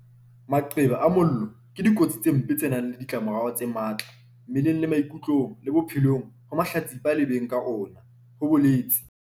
"Maqeba a mollo ke dikotsi tse mpe tse nang le ditlamorao tse matla mmeleng le maikutlong le bophelong ho mahlatsipa le beng ka ona," ho boletse